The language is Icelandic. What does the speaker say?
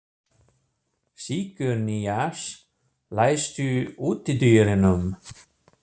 Sigurnýjas, læstu útidyrunum.